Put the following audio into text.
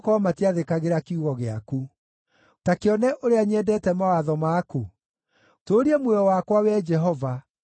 Ta kĩone ũrĩa nyendete mawatho maku; tũũria muoyo wakwa, Wee Jehova, kũringana na wendo waku.